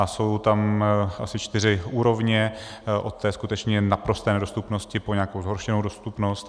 A jsou tam asi čtyři úrovně, od té skutečně naprosté nedostupnosti po nějakou zhoršenou dostupnost.